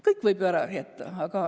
Kõike võib ju ära jätta.